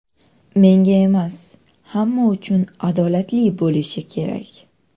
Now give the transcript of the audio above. Menga emas, hamma uchun adolatli bo‘lishi kerak.